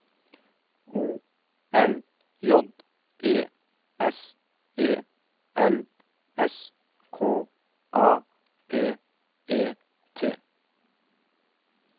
O L J E S E L S K A P E T